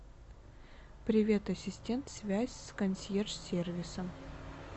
привет ассистент связь с консьерж сервисом